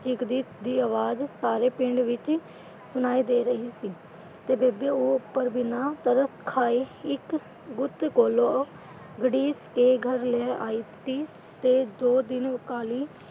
ਚੀਕ ਦੀ ਆਵਾਜ਼ ਸਾਰੇ ਪਿੰਡ ਵਿੱਚ ਸੁਣਾਈ ਦੇ ਰਹੀ ਸੀ ਤੇ ਬੇਬੇ ਉਹ ਉੱਪਰ ਬਿਨਾਂ ਤਰਸ ਖਾਏ ਇੱਕ ਗੁੱਤ ਕੋਲੋਂ ਘੜੀਸ ਕੇ ਘਰ ਲੈ ਆਈ ਸੀ ਤੇ ਦੋ ਦਿਨ ਕਾਲੀ,